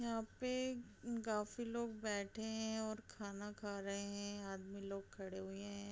यहाँ पे काफी लोग बैठे हैं और खाना खा रहे हैं | आदमी लोग खड़े हुए हैं ।